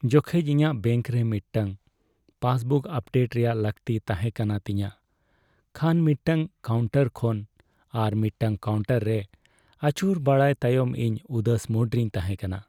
ᱡᱚᱠᱷᱮᱡ ᱤᱧᱟᱹᱜ ᱵᱮᱝᱠ ᱨᱮ ᱢᱤᱫᱴᱟᱝ ᱯᱟᱥᱵᱩᱠ ᱟᱯᱰᱮᱴ ᱨᱮᱭᱟᱜ ᱞᱟᱹᱠᱛᱤ ᱛᱟᱦᱮᱸᱠᱟᱱᱟ ᱛᱤᱧᱟᱹ ᱠᱷᱟᱱ ᱢᱤᱫᱴᱟᱝ ᱠᱟᱣᱩᱱᱴᱟᱨ ᱠᱷᱚᱱ ᱟᱨ ᱢᱤᱫᱴᱟᱝ ᱠᱟᱣᱩᱱᱴᱟᱨ ᱨᱮ ᱟᱹᱪᱩᱨ ᱵᱟᱲᱟᱭ ᱛᱟᱭᱚᱢ ᱤᱧ ᱩᱫᱟᱹᱥ ᱢᱩᱰ ᱨᱮᱧ ᱛᱟᱦᱮᱸᱠᱟᱱᱟ ᱾